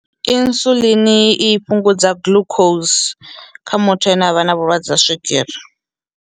Insulin i fhungudza glucose kha muthu ane avha na vhulwadze ha swigiri.